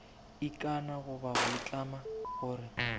ikana goba go itlama gore